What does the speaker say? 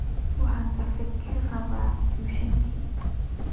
Waxaan kafeega ka rabaa mishiinka